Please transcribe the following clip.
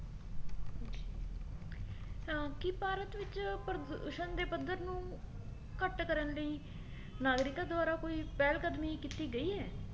ਅਹ ਕੀ ਭਾਰਤ ਵਿੱਚ ਪ੍ਰਦੂਸ਼ਣ ਦੇ ਪੱਧਰ ਨੂੰ ਘੱਟ ਕਰਨ ਲਈ ਨਾਗਰਿਕਾਂ ਦੁਆਰਾ ਕੋਈ ਪਹਿਲ ਕਦਮੀ ਕੀਤੀ ਗਈ ਹੈ